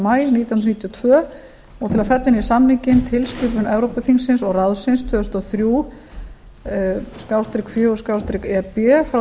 maí nítján hundruð níutíu og tvö og til að fella inn í samninginn tilskipun evrópuþingsins og ráðsins tvö þúsund og þrjú fjögur e b frá